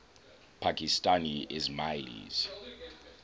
pakistani ismailis